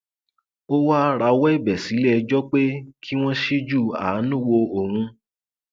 ó wáá rawọ ẹbẹ sílẹẹjọ pé kí wọn ṣíjú àánú wo òun